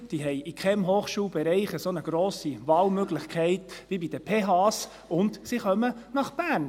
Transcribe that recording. Sie haben in keinem Hochschulbereich eine so grosse Wahlmöglichkeit wie bei den PH und sie kommen nach Bern.